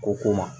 Ko ko ma